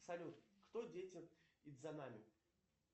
салют кто дети идзанами